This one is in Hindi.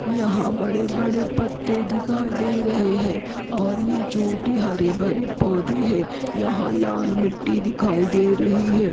यहाँ बड़े बड़े पत्ते दिखाई दे रहे है और ये छोटे हरे भरे पौदे है यहाँ लाल मिट्टी दिखाई दे रही है।